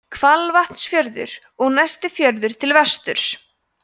hvalvatnsfjörður og næsti fjörður til vesturs